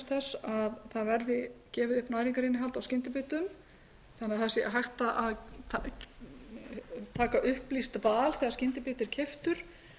þess að gefið verði upp næringarinnihald á skyndibita þannig að hægt sér að taka upplýst val þegar skyndibiti er keyptur